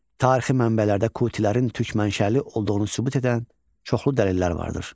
Tarixi mənbələrdə Qutilərin türk mənşəli olduğunu sübut edən çoxlu dəlillər vardır.